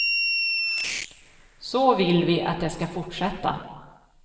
Så vill vi att det ska fortsätta.